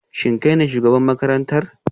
Shin kai ne shugaban makarantar?